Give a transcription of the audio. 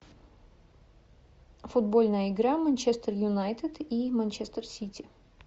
футбольная игра манчестер юнайтед и манчестер сити